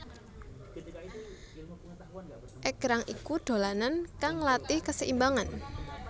Égrang iku dolanan kang nglatih kaseimbangan